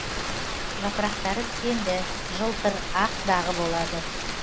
жапырақтары тікенді жылтыр ақ дағы болады